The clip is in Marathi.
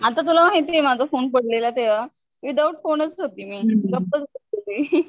आता तुला माहितीये माझा फोने पडलेला तेव्हा विदाउट फोनच होते मी गप Unclear